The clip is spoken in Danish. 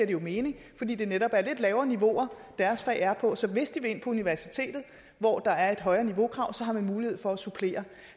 jo mening fordi det netop er lidt lavere niveauer deres fag er på så hvis de vil ind på universitetet hvor der er et højere niveaukrav har de mulighed for at supplere